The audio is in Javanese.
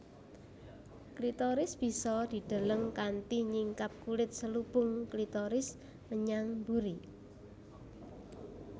Klitoris bisa dideleng kanthi nyingkap kulit selubung klitoris menyang mburi